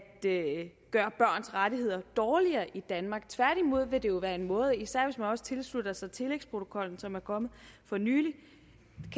gøre børns rettigheder dårligere i danmark tværtimod vil det jo være en måde især hvis man også tilslutter sig tillægsprotokollen som er kommet for nylig